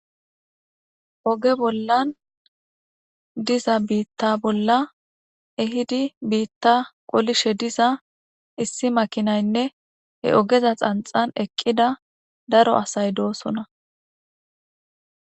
Oge bollan diza biita bolla ehid biita qolishe diza issi makinayinne he ogeza xanixan eqida daro asay dosona